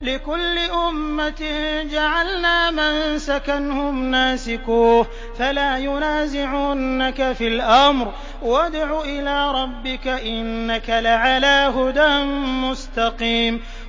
لِّكُلِّ أُمَّةٍ جَعَلْنَا مَنسَكًا هُمْ نَاسِكُوهُ ۖ فَلَا يُنَازِعُنَّكَ فِي الْأَمْرِ ۚ وَادْعُ إِلَىٰ رَبِّكَ ۖ إِنَّكَ لَعَلَىٰ هُدًى مُّسْتَقِيمٍ